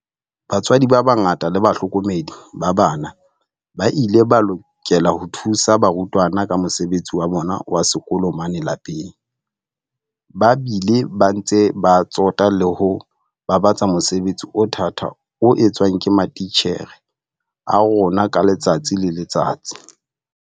Batswadi ba bangata le bahlokomedi ba bana ba ile ba lokela ho thusa barutwana ka mosebetsi wa bona wa sekolo mane lapeng, ba bile ba ntse ba tsota le ho babatsa mosebetsi o thata o etswang ke matitjhere a rona ka letsatsi le letsatsi.